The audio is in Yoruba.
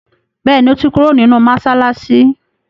béèni o to kúrò nínú masalasi.